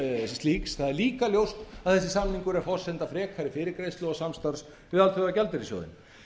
slíks það er líka ljóst að þessi samningur er forsenda frekari fyrirgreiðslu og samstarf við alþjóðagjaldeyrissjóðinn